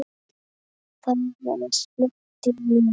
Það var slökkt í mér.